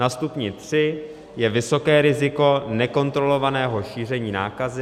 Na stupni tři je vysoké riziko nekontrolovaného šíření nákazy.